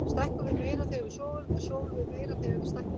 Stækkum við meira þegar við sofum eða sofum við meira þegar við stækkum?